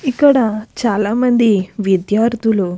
ఇక్కడ చాలా మంది విధ్యార్థులు.